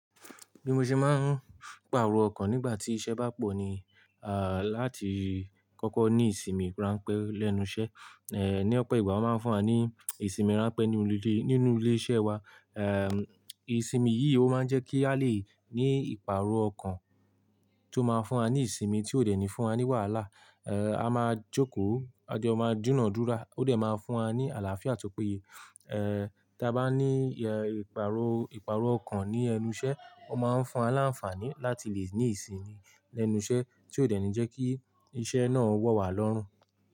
Bí mo ṣe máa ń pàrọ̀ ọkàn nígbà tí iṣẹ́ bá pọ̀ ni, ah, láti kọ́kọ́ ní ìsinmi ránpẹ́ lẹ́nu iṣẹ́. Eh, ní ọ̀pọ̀ ìgbà ó máa ń fún wa ní ìsinmi ránpẹ́ nínú ilé, nínú ilé iṣẹ́ wa. Eh, ìsinmi yìí ó máa ń jẹ́ kí a lè ní ìpàrọ̀ ọkàn tó máa ń fún wa ní ìsinmi tí ó dènì fún wa ní wàhálà. Eh, a máa jókòó, ajọ́ máa dúnàádúrà, ó dẹ̀ máa fún wa ní àlàáfíà tó péye. Eh, tí a bá ní, eh, ìpàrọ̀, ìpàrọ̀ ọkàn ní ẹnu iṣẹ́ ó máa ń fún aláǹfààní láti lè ní ìsinmi lẹ́nu iṣẹ́ tí ó dẹ̀ ní jẹ́ kí iṣẹ́ náà wọ́ wá lọ́rùn.